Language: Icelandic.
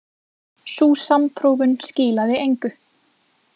Sú samprófun skilaði engu.